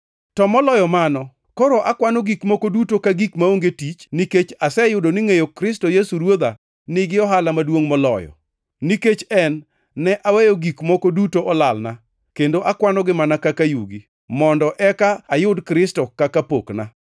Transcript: To moloyo mano, koro akwano gik moko duto ka gik maonge tich nikech aseyudo ni ngʼeyo Kristo Yesu Ruodha nigi ohala maduongʼ moloyo. Nikech en, ne aweyo gik moko duto olalna, kendo akwanogi mana kaka yugi, mondo eka ayud Kristo kaka pokna,